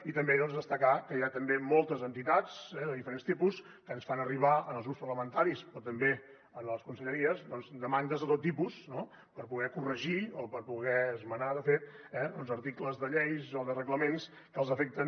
i també destacar que hi ha també moltes entitats de diferents tipus que ens fan arribar als grups parlamentaris però també a les conselleries demandes de tot tipus per poder corregir o per poder esmenar de fet articles de lleis o de reglaments que els afecten